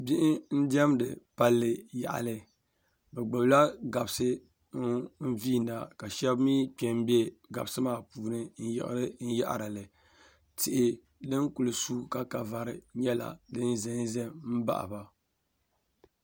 bihi n-diɛmdi palli yaɣili bɛ gbubila gabisi n-viina ka shɛba mi kpe m-be gabisi maa puuni n-yiɣiri n-yaɣiri li tihi din kuli suui ka ka vari nyɛla din za n-za m-baɣi ba